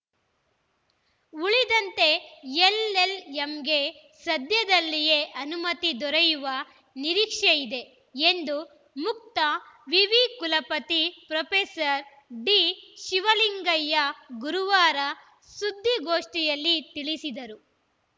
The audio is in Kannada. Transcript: ಉಳಿದಂತೆ ಎಲ್‌ಎಲ್‌ಎಂಗೆ ಸದ್ಯದಲ್ಲಿಯೇ ಅನುಮತಿ ದೊರೆಯುವ ನಿರೀಕ್ಷೆ ಇದೆ ಎಂದು ಮುಕ್ತ ವಿವಿ ಕುಲಪತಿ ಪ್ರೊಫೆಸರ್ ಡಿ ಶಿವಲಿಂಗಯ್ಯ ಗುರುವಾರ ಸುದ್ದಿಗೋಷ್ಠಿಯಲ್ಲಿ ತಿಳಿಸಿದರು